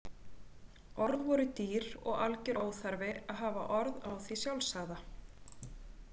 Orð voru dýr og algjör óþarfi að hafa orð á því sjálfsagða.